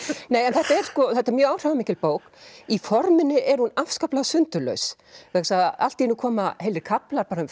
þetta er mjög áhrifamikil bók í forminu er hún afskaplega sundurlaus vegna þess að allt í einu koma heilir kaflar bara um